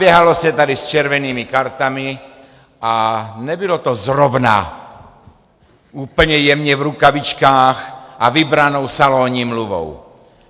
Běhalo se tady s červenými kartami a nebylo to zrovna úplně jemně v rukavičkách a vybranou salonní mluvou.